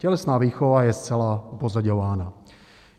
Tělesná výchova je zcela upozaďována.